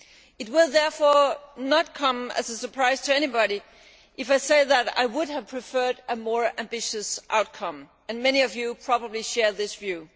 It will therefore not come as a surprise to anybody if I say that I would have preferred a more ambitious outcome, and many of you probably share that view.